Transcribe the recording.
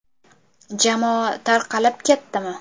Jamoa tarqalib ketdimi?